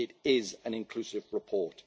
It is an inclusive report.